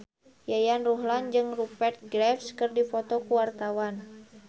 Yayan Ruhlan jeung Rupert Graves keur dipoto ku wartawan